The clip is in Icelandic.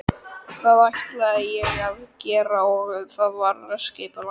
Það ætlaði ég að gera og það var skipulagt.